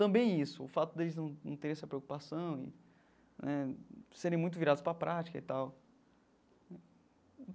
Também isso, o fato deles num num terem essa preocupação e né serem muito virados para a prática e tal.